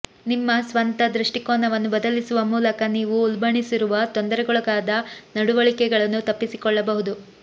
ನಿಮ್ಮ ಸ್ವಂತ ದೃಷ್ಟಿಕೋನವನ್ನು ಬದಲಿಸುವ ಮೂಲಕ ನೀವು ಉಲ್ಬಣಿಸಿರುವ ತೊಂದರೆಗೊಳಗಾದ ನಡವಳಿಕೆಗಳನ್ನು ತಪ್ಪಿಸಿಕೊಳ್ಳಬಹುದು